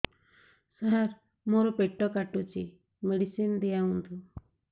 ସାର ମୋର ପେଟ କାଟୁଚି ମେଡିସିନ ଦିଆଉନ୍ତୁ